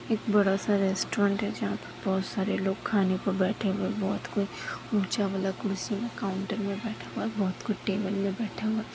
एक बड़ा सा रेस्टोरेंट है जहा पर बोहत सारे लोग खाने को बैठे हुए है बोहत को ऊंचा वाला कुर्सी में काउंटर में बैठा हुआ है बोहत कुछ टेबल में बैठा हुआ --